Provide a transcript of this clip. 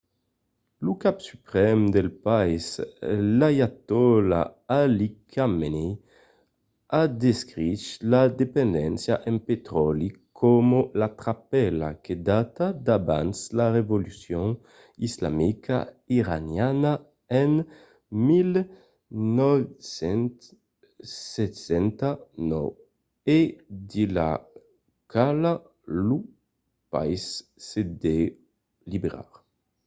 lo cap suprèm del país l'aiatòla ali khamenei a descrich la dependéncia en petròli coma la trapèla que data d'abans la revolucion islamica iraniana en 1979 e de la quala lo país se deu liberar